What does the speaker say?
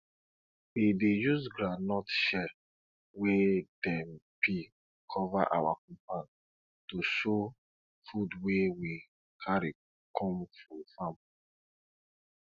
we dey use groundnut shell wey dem peel cover our compound to show food wey we carry come from farm